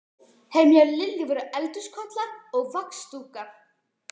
Heima hjá Lillu voru eldhúskollar og vaxdúkur.